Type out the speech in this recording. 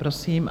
Prosím.